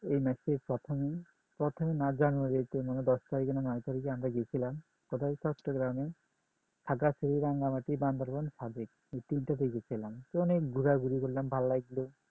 এই মাসের প্রথম প্রথম না জানুয়ারি তে মানে দশ তারিখে না নয় তারিখে আমরা গেছিলাম প্রথমে চট্টগ্রামে রাঙ্গামাটি বান্দরবন সাজেক এই তিনটা থেকে গেছিলাম অনেক ঘোরাঘুরি করলাম ভালো লাগলো